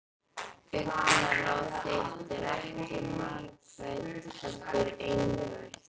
Augnaráð þitt er ekki margrætt heldur einrætt.